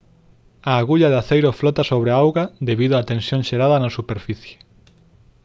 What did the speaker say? a agulla de aceiro flota sobre a auga debido a tensión xerada na superficie